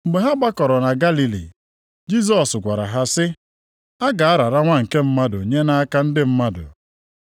Mgbe ha gbakọrọ na Galili, Jisọs gwara ha sị, “A ga-arara Nwa nke Mmadụ nye nʼaka ndị mmadụ.